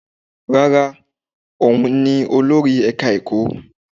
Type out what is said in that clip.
Rárá, òun ni olórí ẹka ẹ̀kọ́.